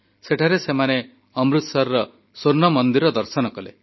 ସେଠାରେ ସେମାନେ ଅମୃତସରର ସ୍ୱର୍ଣ୍ଣ ମନ୍ଦିର ଦର୍ଶନ କଲେ